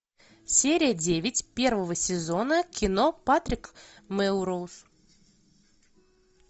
серия девять первого сезона кино патрик мелроуз